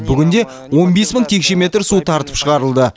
бүгінде он бес мың текше метр су тартып шығарылды